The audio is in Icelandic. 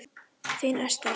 Þín Esther.